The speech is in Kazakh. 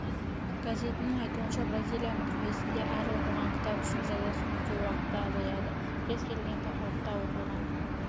газетінің айтуынша бразилияның түрмесінде әр оқыған кітап үшін жазасын өтеу уақыты азаяды кез келген тақырыпта оқылған